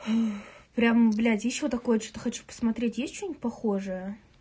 прямо блядь ещё такое что-то хочу посмотреть есть что-нибудь похожее